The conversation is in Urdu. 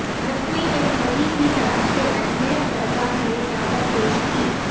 نقوی نے مودی کی طرف سے اجمیر درگاہ میں چادرپیش کی